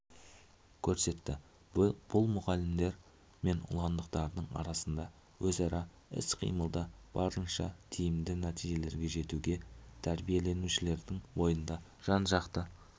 көрсетті бұл мұғалімдер мен ұландықтардың арасында өзара іс-қимылда барынша тиімді нәтижелерге жетуге тәрбиеленушілердің бойында жан-жақты